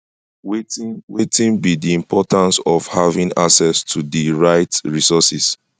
wetin wetin be di importance of having access to di right resources